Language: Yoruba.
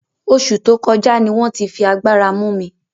Osu to koja ni won ti fi agbara mu mi